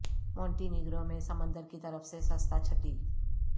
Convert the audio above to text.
Monte negro میں سمندر کی طرف سے سستا چھٹی